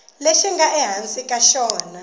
lexi nga ehansi ka xona